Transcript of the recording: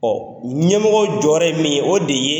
Ɲɛmɔgɔw jɔ yɔrɔ ye min ye, o de ye